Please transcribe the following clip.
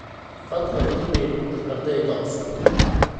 fadhlan iimayl u dir ardayga cusub